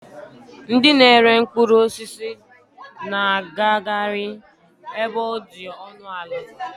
Ndị na-ere mkpụrụ osisi na-agakari ebe ọ dị ọnụ ala.